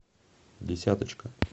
десяточка